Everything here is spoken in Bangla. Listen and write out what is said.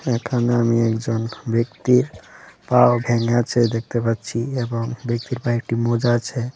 এখানে আমি একজন ব্যক্তির পাও ভেঙেছে দেখতে পাচ্ছি এবং ব্যক্তির পায়ে একটি মোজা আছে।